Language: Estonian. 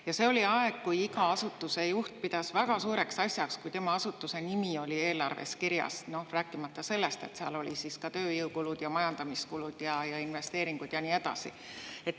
Ja see oli aeg, kui iga asutuse juht pidas väga suureks asjaks, kui tema asutuse nimi oli eelarves kirjas, rääkimata sellest, et seal olid tööjõukulud, majandamiskulud, investeeringud ja nii edasi.